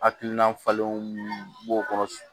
Hakilina falenw b'o kɔnɔ